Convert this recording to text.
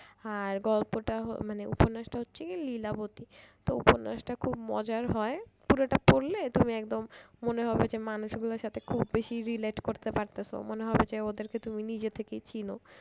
আর গল্পটা মানে উপন্যাসটা হচ্ছে কি লীলাবতী। তো উপন্যাসটা খুব মজার হয় পুরোটা পড়লে তুমি একদম মনে হবে যে মানুষগুলোর সাথে খুব বেশি relate করতে পারতেছো মনে হবে যে ওদেরকে তুমি নিজে থেকেই চেনো।